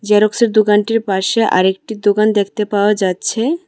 জেরক্সের দোকানটির পাশে আরেকটি দোকান দেখতে পাওয়া যাচ্ছে।